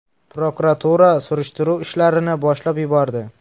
Prokuratura surishtiruv ishlarini boshlab yubordi.